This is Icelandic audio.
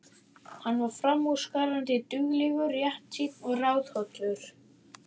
Hann var framúrskarandi duglegur, réttsýnn og ráðhollur.